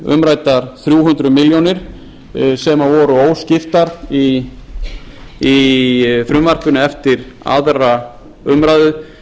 umræddar þrjú hundruð milljóna króna sem voru óskiptar í frumvarpinu eftir aðra umræðu